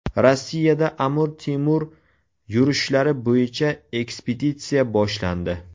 Rossiyada Amir Temur yurishlari bo‘yicha ekspeditsiya boshlandi.